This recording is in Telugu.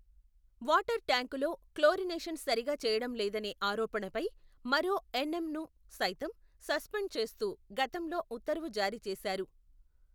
వాటర్ ట్యాంకులో క్లోరినేషన్ సరిగా చేయడంలేదనే ఆరోపణపై, మరో ఎన్.ఎం ను సైతం, సస్పెండ్ చేస్తూ గతంలో ఉత్తర్వు జారీ చేశారు.